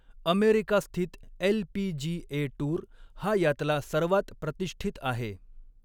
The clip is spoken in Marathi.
अमेरिकास्थित एल.पी.जी.ए. टूर हा यातला सर्वात प्रतिष्ठित आहे.